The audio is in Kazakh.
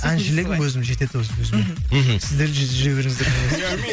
әншілігім өзім жетеді өзіме мхм мхм сіздер жүре беріңіздер